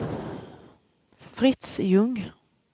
Fritz Ljung